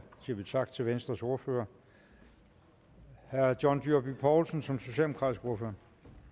siger vi tak til venstres ordfører herre john dyrby paulsen som socialdemokratisk ordfører